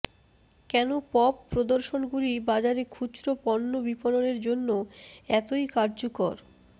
কেন পপ প্রদর্শনগুলি বাজারে খুচরো পণ্য বিপণনের জন্য এতই কার্যকর